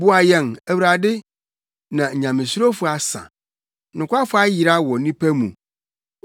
Boa yɛn, Awurade, na nyamesurofo asa; nokwafo ayera wɔ nnipa mu.